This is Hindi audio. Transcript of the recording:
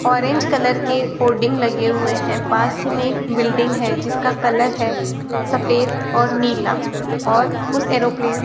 ऑरेंज कलर के होर्डिग लगे हुए हैं पास ही में एक बिल्डिंग है जिसका कलर है सफेद और नीला और उस एरोप्लेन --